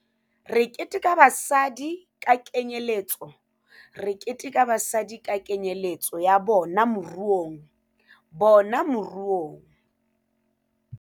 Re keteka basadi ka kenyeletso Re keteka basadi ka kenyeletso ya bona moruongya bona moruong